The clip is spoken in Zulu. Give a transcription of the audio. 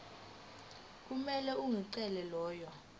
kumele unikeze lolu